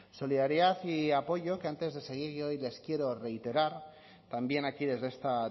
solidaridad y apoyo que antes de seguir y hoy les quiero reiterar también aquí desde esta